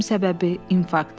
Ölüm səbəbi infarkt.